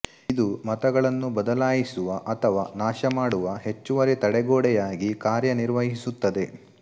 ಇದು ಮತಗಳನ್ನು ಬದಲಾಯಿಸುವ ಅಥವಾ ನಾಶಮಾಡುವ ಹೆಚ್ಚುವರಿ ತಡೆಗೋಡೆಯಾಗಿ ಕಾರ್ಯನಿರ್ವಹಿಸುತ್ತದೆ